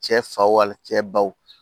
Cɛ fa wali cɛ baw